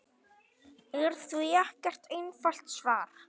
er því ekkert einfalt svar.